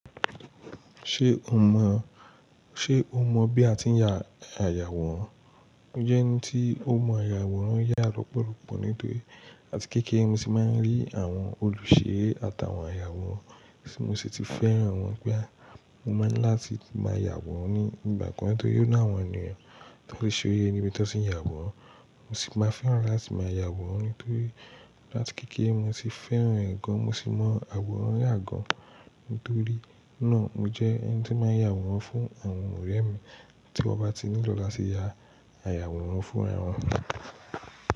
Ṣé o mọ, ṣe o mọ bí a ti ń ya àyàwòrán? Mo jẹ́ ẹni tí ó mọ àyàwòrán yà lọ́pọ̀lọpọ̀ nítorí láti kéékèé mo ti máa ń rí àwọn olùṣe àtàwọn àyàwòrán tí mo sì ti fẹ́ràn wọ́n pé a, mo máa ń láti máa yàwòrán ní ìgbà kan torí ó náà wọ́n nìyẹn, tí wọ́n lè ṣe ó yé níbi tí wọ́n sì ń yàwòrán, mo sì máa fẹ́ràn láti máa yàwòrán nítorí láti kéékèé mo ti fẹ́ràn ẹ̀ gan, mo sì mọ àwòrán yà gan, nítorí náà mo jẹ́ ẹni tí máa ń yàwòrán fún àwọn ọ̀rẹ́ mi tí wọ́n bá ti nílò láti yà àyàwòrán fún àwọn ọ̀rẹ́ mi.